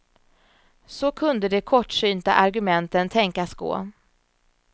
Så kunde de kortsynta argumenten tänkas gå.